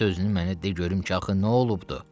Bir sözünü mənə de görüm ki, axı nə olubdur?